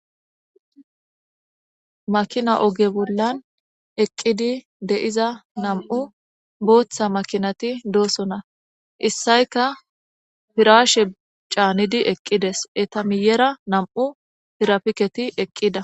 Maakina ooge bollan eqqidi de'iza nam'u booththa maakinati doosona issayikka pirraashe caanidi eqqides eetta miiyera nam'u tirapiketi eqqida